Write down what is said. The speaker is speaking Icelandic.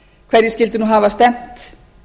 hverjir skyldu nú hafa stefnt